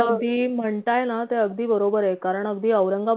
तुम्ही अगदी म्हणताय ना ते अगदी बरोबरये कारण अगदी